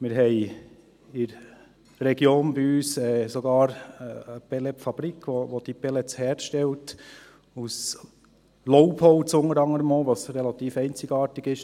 Wir haben in unserer Region sogar eine Pellet-Fabrik, die diese Pellets herstellt, unter anderem auch aus Laubholz, was relativ einzigartig ist.